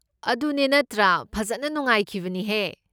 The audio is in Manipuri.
ꯑꯗꯨꯅꯦ ꯅꯠꯇ꯭ꯔꯥ! ꯐꯖꯟꯅ ꯅꯨꯡꯉꯥꯏꯈꯤꯕꯅꯤꯍꯦ꯫